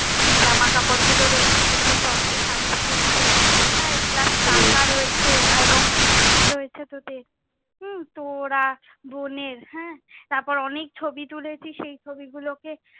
জামা কাপড় গুলো রয়েছে যে গুলো তত্বে পাঠিয়েছে। হ্যাঁ plus টাকা রয়েছে এবং কি টাকা রয়েছে তোদের, হম তোরা বোনের, হ্যাঁ তারপর অনেক ছবি তুলেছি, সেই ছবি গুলো কে,